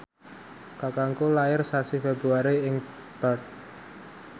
kakangku lair sasi Februari ing Perth